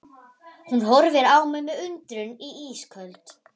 Hún horfir á mig með undrun í ísköld